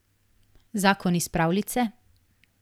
Zakon iz pravljice?